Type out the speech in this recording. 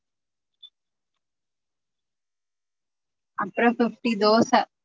அப்றோ fifty தோச